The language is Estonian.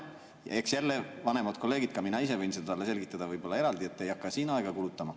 Jälle, vanemad kolleegid, ka mina ise võin seda talle selgitada võib-olla eraldi, ei hakka siin aega kulutama.